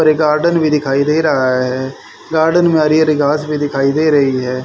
और ये गार्डन दिखाई दे रहा है गार्डन में हरी हरी घास भी दिखाई दे रही है।